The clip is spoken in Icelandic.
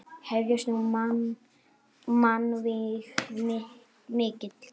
Hefjast nú mannvíg mikil.